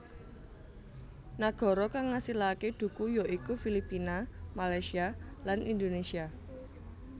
Nagara kang ngasilaké dhuku ya iku Filipina Malaysia lan Indonesia